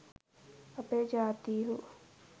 අපේ ජාතීහු